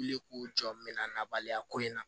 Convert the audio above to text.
Weele k'u jɔ n bɛna na baliya ko in na